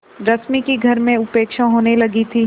रश्मि की घर में उपेक्षा होने लगी थी